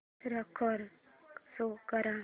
score show कर